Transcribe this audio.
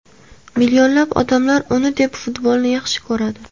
Millionlab odamlar uni deb futbolni yaxshi ko‘radi”.